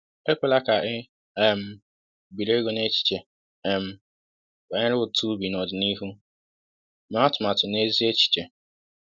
Ekwela ka i um biri ego n’echiche um banyere ụtụ ubi n’ọdịnihu; mee atụmatụ na ezi echiche.